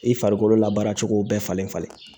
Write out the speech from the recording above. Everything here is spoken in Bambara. I farikolo la baara cogo bɛɛ falen falen